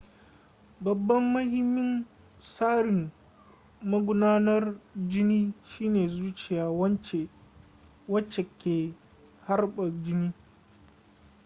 babban mahimmin tsarin magudanar jini shine zuciya wacce ke harba jini